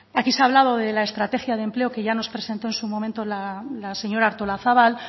aquí se ha hablado de la estrategia de empleo que ya nos presentó en su momento la señora artolazabal